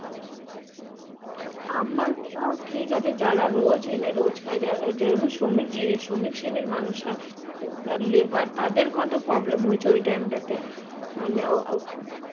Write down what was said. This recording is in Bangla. আমাদের তাও ঠিক আছে যারা রোজ এনে রোজ খাই যেমন শ্রমিক যে শ্রমিক শ্রেণীর মানুষরা যারা labour তাদের কত problem হয়েছে ওই time টাতে